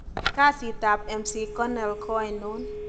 Kasit ab McConell ko ainon?